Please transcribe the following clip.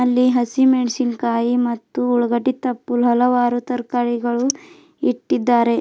ಇಲ್ಲಿ ಹಸಿಮೆಣಸಿನಕಾಯಿ ಮತ್ತು ಉಳಗಡ್ಡಿ ತಪ್ಪು ಹಲವಾರು ತರಕಾರಿಗಳು ಇಟ್ಟಿದ್ದಾರೆ.